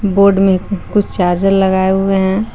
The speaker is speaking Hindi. बोड में कुछ चार्जर लगाए हुए हैं।